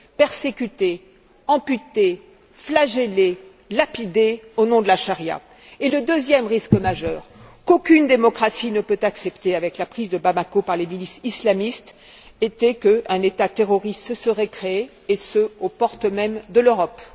persécuter, amputer, flageller, lapider au nom de la Sharia. Et le deuxième risque majeur, qu'aucune démocratie ne peut accepter avec la prise de Bamako par les milices islamistes, était qu'un État terroriste se serait créé et ce, aux portes mêmes de l'Europe.